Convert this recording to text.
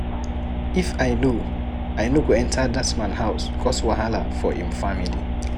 If I no, I no go enter dat man house cause wahala for im family.